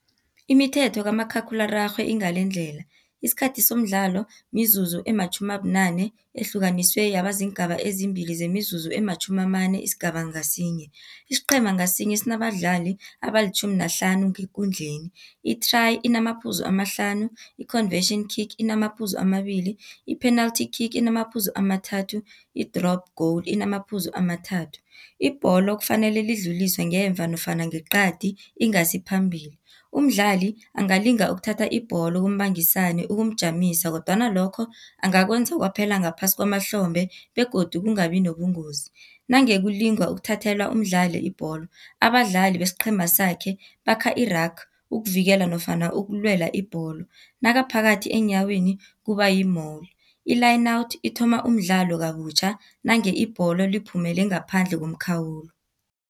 Imithetho kamakhakhulararhwe ingalendlela, isikhathi somdlalo mizuzu ematjhumi abunane ehlukaniswe yaba ziingaba ezimbili, zemizuzu ematjhumi amane isigaba ngasinye. Isiqhema ngasinye sinabadlali abalitjhumi nahlanu ngekundleni i-try inamaphuzu amahlanu i-conversion kick inamaphuzu amabili, i-penalty kick inamaphuzu amathathu, i-drop goal inamaphuzu amathathu. Ibholo kufanele lidluliswe ngemuva nofana ngeqadi ingasi phambili, umdlali angalinga ukuthatha ibholo kumbangisani ukumjamisa kodwana lokho angakwenza kwaphela ngaphasi kwamahlombe begodu kungabi nobungozi. Nange kulingwa ukuthathelwa umdlali ibholo, abadlali besiqhema sakhe bakha i-rug ukuvikela nofana ukulwela ibholo, nakaphakathi eenyaweni kuba yi-mole, i-line out ithoma umdlalo kabutjha nange ibholo liphumele ngaphandle komkhawulo.